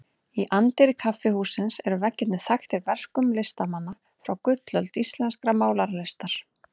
Í anddyri kaffihússins eru veggirnir þaktir verkum listamanna frá gullöld íslenskrar málaralistar.